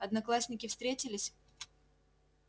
одноклассники встретились